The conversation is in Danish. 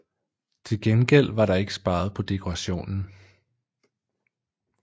Til gengæld var der ikke sparet på dekorationen